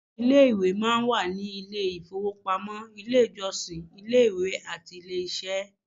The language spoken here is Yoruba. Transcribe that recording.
Ilé-ìwẹ̀ máa ń wà ní àwọn ilé-ìfowópamọ́, ilé-ìjọsìn, ilé-ìwé, àti ilé-iṣẹ́